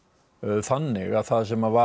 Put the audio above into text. þannig að það sem var